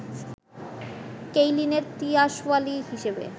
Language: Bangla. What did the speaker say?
কেইলিনের তিয়াসওয়ালি হিসেবে